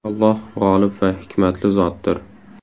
Alloh g‘olib va hikmatli zotdir.